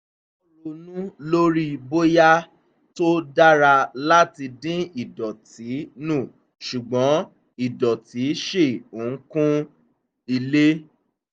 wọ́n ronú lórí bóyá tó dára láti dín idọ̀tí nu ṣùgbọ́n idọ̀tí ṣì ń kún ilé